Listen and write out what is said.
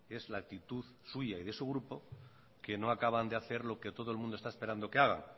es la actitud suya y de su grupo que no acaban de hacer lo que todo el mundo está esperando que haga